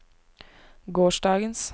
gårsdagens